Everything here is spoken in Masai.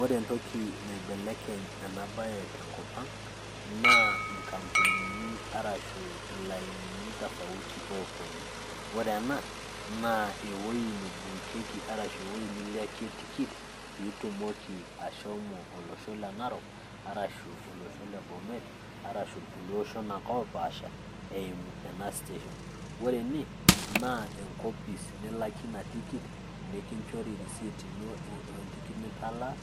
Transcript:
ore entoki naibelekeny ena bae tenkop ang, naa nkampunini arashu ilainini tofauti oopuonu, ore ena naa ewuei neibookieki arashu ewuei nilakie tikit, pe itumoki shomo olosho le narok, arashu olosho le bomet, arasu irulie oshon ake opaasha, eimu ena station. ore ene naa enkopis nilakie ina tikit, nikinchori e receipt ino we ntikit nitalaa,